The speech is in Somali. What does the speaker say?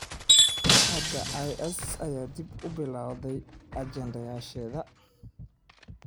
hadda IS ayaa dib u bilowday ajandayaasheeda.